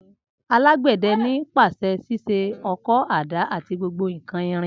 Alàgbéde ni pasé sise õkõ, àdá ati gbogbo nkan irin